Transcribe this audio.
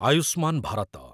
Ayushman Bharat